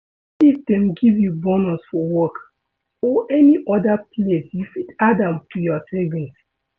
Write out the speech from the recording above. if dem give you bonus for work or any oda place you fit add am to your savings